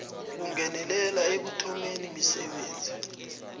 kungenelela ekuthomeni misebenzi